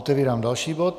Otevírám další bod